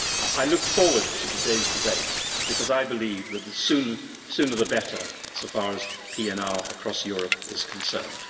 I look forward to today's debate because I believe that the sooner the better as far as PNR across Europe is concerned.